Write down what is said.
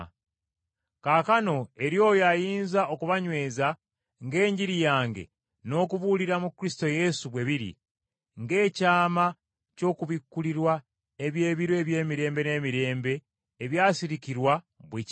Kaakano eri oyo ayinza okubanyweza ng’enjiri yange n’okubuulira mu Kristo Yesu bwe biri, ng’ekyama ky’okubikkulirwa eby’ebiro eby’emirembe n’emirembe ebyasirikirwa, bwe kiri,